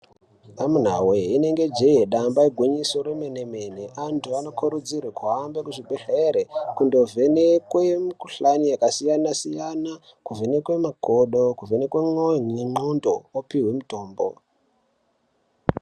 Amunawe inenge jee damba igwinyiso remene mene antu anokurudzirwe kuhambe kuzvibhedhlera kundovhenekwe mikhuhlani yakasiyana siyana , kuvhenekwe makodo, kuvhenekwe mwoyo nendxondo opihwe mitombo.